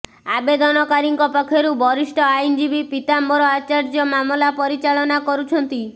ଆବେଦନକାରୀଙ୍କ ପକ୍ଷରୁ ବରିଷ୍ଠ ଆଇନଜୀବୀ ପୀତାମ୍ବର ଆଚାର୍ଯ୍ୟ ମାମଲା ପରିଚାଳନା କରୁଛନ୍ତି